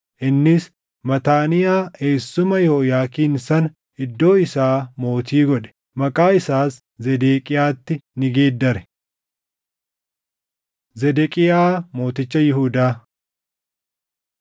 Innis Mataaniyaa eessuma Yehooyaakiin sana iddoo isaa mootii godhe; maqaa isaas Zedeqiyaatti ni geeddare. Zedeqiyaa Mooticha Yihuudaa 24:18‑20 kwf – 2Sn 36:11‑16; Erm 52:1‑3